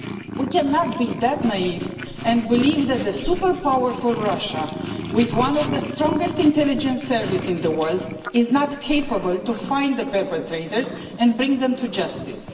We cannot be so naive as to believe that super powerful Russia, with one of the strongest intelligence services in the world, is not capable of finding the perpetrators and bringing them to justice.